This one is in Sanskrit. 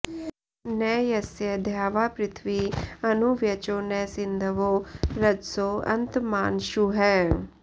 न यस्य॒ द्यावा॑पृथि॒वी अनु॒ व्यचो॒ न सिन्ध॑वो॒ रज॑सो॒ अन्त॑मान॒शुः